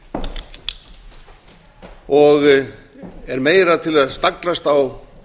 fánýtt og er meira til að staglast á